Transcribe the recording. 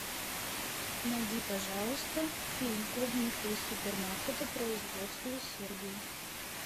найди пожалуйста фильм клубника из супермаркета производства сербии